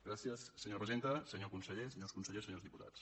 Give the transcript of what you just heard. gràcies senyora presidenta senyor conseller senyors consellers senyors diputats